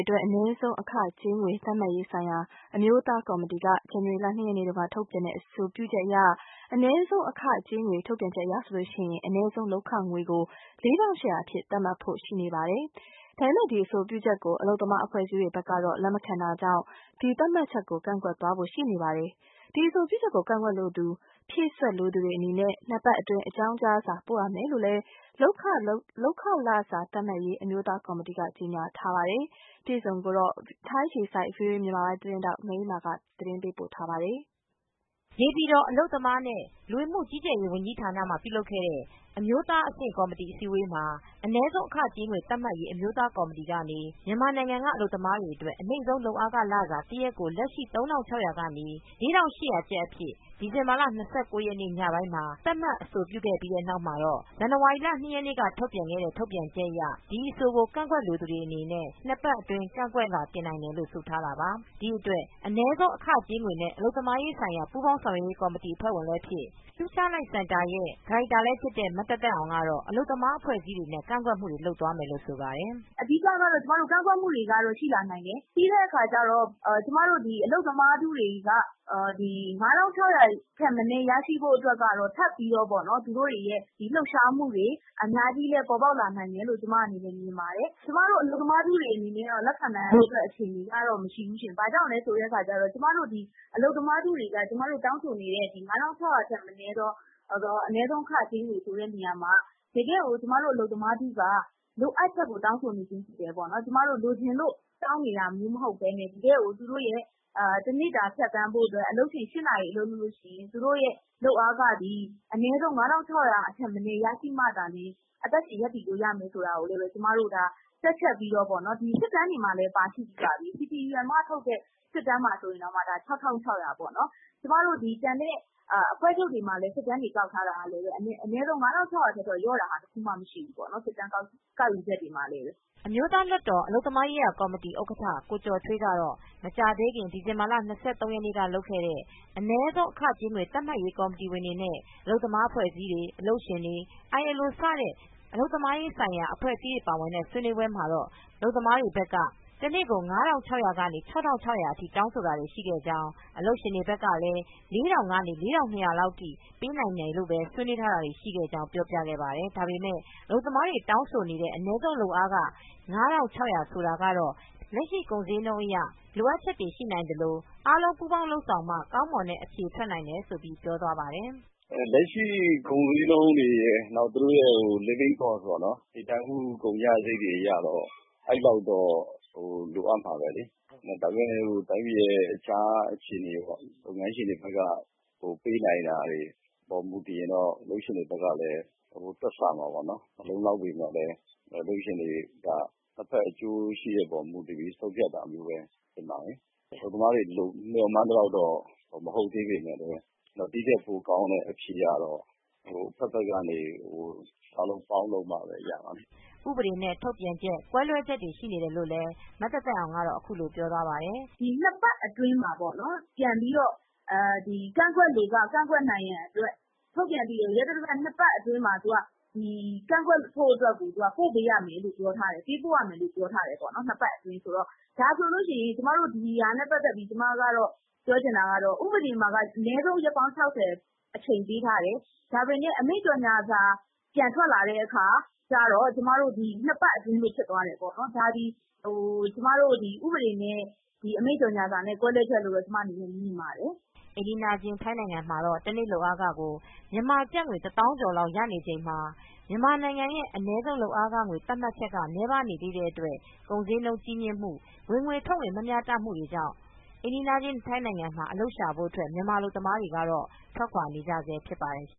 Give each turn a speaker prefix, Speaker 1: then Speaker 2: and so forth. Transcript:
Speaker 1: အတွက် အနည်းဆုံးအခကြေးငွေ သတ်မှတ်ရေးဆိုင်ရာ ဆိုင်ရာအမျိုးသားကော်မတီက ဇန်နဝါရီလ ၂ရက်နေ့မှာထုတ်ပြန်တဲ့ အဆိုပြု အနည်းဆုံးအခကြေးငွေ ထုတ်ပြန်ချက်အရ အနည်းဆုံးလုပ်အားခငွေကို ၄၈၀၀အဖြစ်သတ်မှတ်ဖို့ ရှိနေပါတယ်။ ဒါပေမယ့် ဒီ အဆိုပြုချက်ကို အလုပ်သမားအဖွဲ့အစည်းတွေဖက်ကတော့ လက်မခံတာမို့ ဒီ သတ်မှတ်ချက်ကို ကန့်ကွက်သွားဖို့ ရှိနေပါတယ်။ ဒီ အဆိုပြုချက်ကို ကန့်ကွက်လိုသူ ဖြည့်စွတ်လိုသူတွေအနေနဲ့ နှစ်ပတ်အတွင်း အကြောင်းကြားစာပို့ရမယ်လို့လည်း လုပ်ခလစာသတ်မှတ်ရေး အမျိုးသားကော်မတီ က ကြေညာထားပါတယ်။ ဒီအကြောင်းကိုတော့ မအေးအေးမာက အပြည့်အစုံပြောပြမှာပါ။
Speaker 2: နေပြည်တော် အလုပ်သမားနဲ့ လူဝင်မူကြီးကြပ်ရေးဝန်ကြီးဌာနမှာ ပြုလုပ်ခဲ့တဲ့ အမျိုးသားအဆင့် ကော်မတီ အစည်းအဝေးမှာ အနည်းဆုံး အခကြေးငွေ သတ်မှတ်ရေး အမျိုးသားကော်မတီ ကနေ မြန်မာနိုင်ငံက အလုပ်သမားတွေအတွက် အနိမ့်ဆုံး လုပ်ခလစာ တစ်ရက်ကို လက်ရှိ ၃၆၀၀ကနေ့ ကျပ် အဖြစ် ဒီဇင်ဘာလ၂၉ရက်နေ့ ညပိုင်းမှာသတ်မှတ်အဆိုပြုပေးပြီးတဲ့နောက်မှာတော့ ဇန်နဝါရီလ ၂ရက်နေ့ ကထုတ်ပြန်ခဲ့တဲ့ ထုတ်ပြန်ချက်အရ ဒီအဆိုကို ကန့်ကွက်လိုသူတွေအနေနဲ့ ၂ပတ်အတွင်းကန့်ကွက်လွာတင်နိုင်တယ်လို့ ဆိုထားတာပါ။ ဒီအတွက်အနည်းဆုံး အခကြေးငွေနဲ့ အလုပ်သမားရေးဆိုင်ရာ ပူးပေါင်းဆောင်ရွက်ရေးကော်မတီ အဖွဲ့ဝင်လည်းဖြစ် Future light စင်တာရဲ့ ဒါရိုက်တာလည်းဖြစ်တဲ့ မသက်သက်အောင်ကတော့ အလုပ်သမားအဖွဲအစည်းတွေနဲ့ ကန့်ကွက်မူတွေ လုပ်သွားမယ်လို့ဆိုပါတယ်။ "အဓိကတော့ ကန့်ကွက်မူတွေလည်း
Speaker 3: ရှိလာနိုင်ပါတယ် ပြီးတဲ့အခါကျတော့ကျမတို့ အလုပ်သမားထုတွေက ၅၆၀၀ထက်မနည်း ရရှိဖို့ အတွက် ကထပ်ပြီးတော့ လှုပ်ရှားမူတွေလည်းအများကြီးပေါ်ပေါက် လာနိုင်တယ်လို့ ကျမမြင်ပါတယ်။ အလုပ်သမားထုတွေအနေနဲ့ လက်ခံနိုင်လောက်တဲ့ အခြေအနေမရှိဘူးရှင့် ။ ဘာကြောင့်လဲဆိုတော့ အလုပ်သမားထုတွေက တောင်းဆိုနေတာက ၅၆၀၀ ထက် မနည်းသော အနည်းဆုံအခကြေးငွေဆိုတာ တကယ်ကို လိုအပ်ချက် အရတောင်းဆိုနေတာဖြစ်တယ်။ ကျမတို့လိုချင်လို့တောင်းနေတာမဟုတ်ပဲ တကယ်ကို တနေ့ တနေ့ ဖြတ်သန်းဖို့ အတွက်တနေ့ ကို၈နာရီအလုပ်လုပ်လို့ ရှိရင် အနည်းဆုံး ၅၆၀၀ရမှာသာ အသက်ရှင်ရပ်တည်လို့ရမယ်ဆိုပြီး တွက်ချက်ပြီးတော့ စစ်တမ်းမှာလည်း ပါရှိပြိးပါပြီ။ ကျမတို့အဖွဲချုပ်တွေမှာ စစ်တမ်းကိုကောက်ထားတာ အနည်းဆုံး ၅၆၀၀ထက်လျော့တာ မရှိဘူးပေါ့နော်။"
Speaker 2: အမျိုသားလွတ်တော်အလုပ်သမားရေးရာကော်မတီဥက္ကဌကိုကျော်ထွေးကတော့ မကြာသေးခင် ဒီဇင်ဘာလ ၂၃ရက်နေ့လုပ်ခဲ့တဲ့ အနည်းဆုံးအခကြေးငွေ သတ်မှတ်ရေးကော်မတီဝင်တွေနဲ့ အလုပ်သမားအဖွဲ့အစည်းတွေ အလုပ်ရှင်တွေ အိုင်အယ်အို စတဲ့ အလုပ်သမားရေးဆိုင်ရာအဖွဲ့အစည်းတွေ ပါဝင်တဲ့ဆွေးနွေး ပွဲမှာတော့ အလုပ်သမားတွေဘက်က ၅၆၀၀ ကနေ ၆၆၀၀အထိတောင်းဆိုတာတွေရှိခဲ့ကြောင်း အလုပ်ရှင်တွေဘက်ကလည်း ၄၀၀၀ကနေ ၄၂၀၀လောက်ထိပဲပေးနိုင်မယ် လို့ ဆွေးနွေးတာတွေရှိခဲ့ကြောင်းပြောပြခဲ့ပါတယ်။ ဒါပေမယ့် အလုပ်သမားတွေ တောင်းဆိုနေတဲ့ အနည်းဆုံးလုပ်အားခ ၅၆၀၀ဆိုတာကတော့ လက်ရှိကုန်ဈေးနှုန်း အရလိုအပ်ချက်တွေရှိနိုင်သလို အားလုံး ပူးပေါင်းလုပ်ဆောင်မှ ကောင်းမွန်တဲ့ အဖြေထွက်နိုင်တယ်လို့ပြောသွားပါတယ်
Speaker 4: ။ "လက်ရှိကုန်ဈေးနှုန်းတွေရယ် သူတို့ရဲ့ နေထိုင်မူကုန်ကျစရိပ်တွေအရတော့ အဲဒီလောက်တော့လိုအပ်မှာပဲလေ ဒါပေမဲ့လည်း တိုင်းပြည်ရဲ့အခြားအခြေအနေပေါ့ လုပ်ငန်းရှင်တွေဘက်ကလည်းပေးနိုင်တာတွေ ပေါ်မူတည်ရင်တော့ အလုပ်ရှင်တွေဘက်က လည်းတွက်ဆမှာပေါ့။ မလုံလောက်ပေးမယ့်လည်း အလုပ်ရှင်တွေဘက်ကလည်းနှစ်ဖက် အကျိုးရှိတဲ့အပေါ်မူတည်ပြီး ဆုံးဖြတ်တာ မျိုးလည်းဖြစ်မှာ လေ။ အလုပ်သမားတွေမျှော်မှန်းသလောက်မဟုတ်သေးပေမဲ့လည်း ဒီထက်ပို ကောင်းတဲ့အဖြေကတော့နှစ်ဖက်ပေါင်းလုပ်မှပဲ၇မှာပေါ့လေ
Speaker 2: " ဥပဒေနဲ့ ထုတ်ပြန်ချက် ကွဲလွဲချက်တွေရှိနေတယ်လိုလည်း မသက်သက်အောင်က အခုလိုပြောသွားပါတယ်။ "နှစ်ပတ်အတွင်းမှာပေါ့နော်ပြန်ပြီးတော့
Speaker 3: ကန့်ကွက်လိုက ကန့်ကွက်ရန်အတွက် ထုတ်ပြန်ပြီး ရက်သတ္တပတ် ၂ပတ် အတွင်းမှာ ပေးပို့ရမယ်လို့ပြောထားတယ်။ ဥပဒေမှာက ရက်ပေါင်း ၆၀ပြောထားတယ် အချိန်ပေးထားတယ်။ အမိန့်ကြေညာစာမှာတော့ ၂ပတ်အတွင်းလို့ပြောထားတယ်။ ဒါကဥပဒေနဲ့ အမိန့်ကြေညာစာကွဲလွဲချက်လို့ကျမမြင်ပါတယ်။"
Speaker 2: အိမ်နီးချင်ထိုင်းနိုင်ငံ တနေ့ လုပ်အားခကို မြန်မာကျပ်ငွေ တသောင်းကျော်လောက်ရနေချိန် မှာ မြန်မာနိုင်ငံရဲ့အနည်းဆုံးလုပ်အားခငွေ သတ်မှတ်ချက်ကနည်းပါးနေတဲ့အတွက် ကုန်ဈေးနှုန်းကြီးမြင့်မူ၊ ဝင်ငွေထွက်ငွေမမျှတမူတွေကြောင့် အိမ်နီးချင်း ထိုင်းနိင်ငံမှာအလုပ်ရှာဖွေဖို့ အတွက် မြန်မာအလုပ်သမားတွေက ထွက်ခွါနေကြဆဲ ဖြစ်ပါတယ်